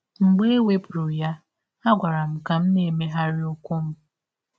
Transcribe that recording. Mgbe e wepụrụ ya, a gwara m ka m na - emegharị ụkwụ m.